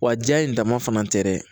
Wa ja in dama fana tɛ dɛ